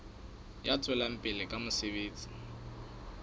ya tswelang pele ka mosebetsi